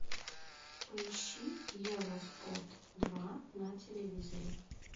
поищи евроспорт два на телевизоре